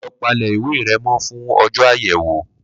Lo palẹ̀ ìwé re mó fún ọjọ́ àyẹ̀wò